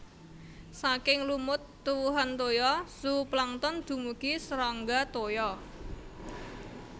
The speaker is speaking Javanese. Saking lumut tuwuhan toya zooplankton dumugi serangga toya